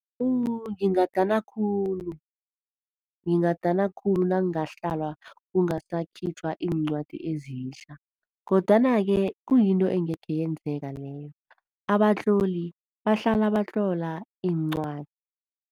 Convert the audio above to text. Wu, Ngingadana khulu. Ngingadana khulu nakungahlalwa kungasakhitjhwa iincwadi ezitjha. Kodwana-ke kuyinto engekhe yenzeka leyo. Abatloli bahlala batlola iincwadi.